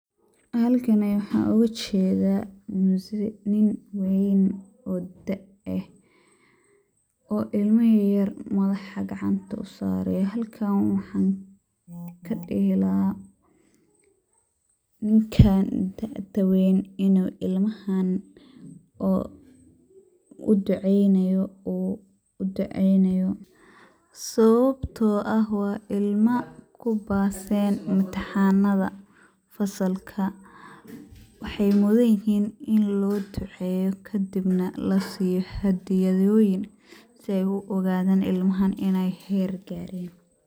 Halkani waxa uga jeedha mzee nin wayn oo daa eeh oo ilmo yaryar madaxa gacanta usareyo. Halkan waxa kadihi lahaa ninkaa da`da weyn inu ilmahan oo uduceyneyo sababto aah waa ilma u baseen imtihanadha fasalka waxay mudinhiin in loo duceyo kadib na lasiyo hadiyaadoyin sida u ogadan ilmahan inay heer gaaren.